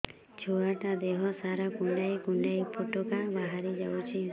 ଛୁଆ ଟା ଦେହ ସାରା କୁଣ୍ଡାଇ କୁଣ୍ଡାଇ ପୁଟୁକା ବାହାରି ଯାଉଛି